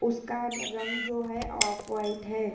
उसका रंग जो है ऑफ व्हाइट है।